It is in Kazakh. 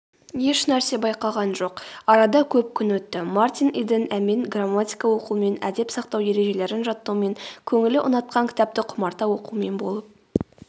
ешнәрсе байқаған жоқ.арада көп күн өтті мартин иден әмен грамматика оқумен әдеп сақтау ережелерін жаттаумен көңілі ұнатқан кітапты құмарта оқумен болып